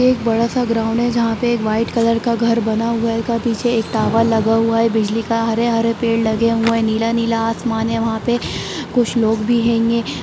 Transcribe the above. ये एक बडा सा ग्राउंड है जहा पे एक व्हाइट कलर का घर बना हुआ हेगा पीछे एक टावर लगा हुआ है बिजली का हरे-हरे पेड़ लगे हुए है नीला-नीला आसमान हें वहा पे कुछ लोग भी कहेंगे ।